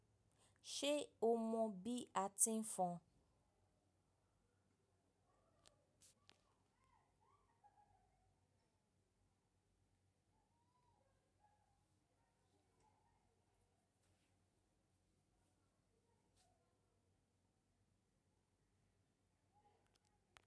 Ṣé o mọ bí a ti ń fọn?